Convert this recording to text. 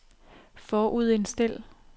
forudindstil